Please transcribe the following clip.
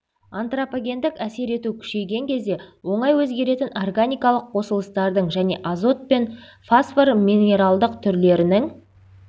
антропогендік әсер ету күшейген кезде оңай өзгеретін органикалық қосылыстардың және азот пен фосфор минералдық түрлерінің